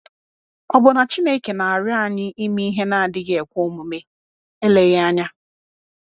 Ọ̀ bụ na Chineke na-arịọ anyị ime ihe na-adịghị ekwe omume? Eleghị anya.